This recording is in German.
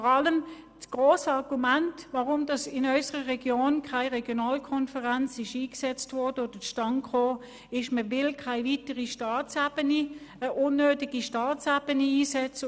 Das grosse Argument, weshalb in unserer Region keine Regionalkonferenz eingesetzt wurde oder zustande kam, ist, dass man keine weitere unnötige Staatsebene einsetzen will.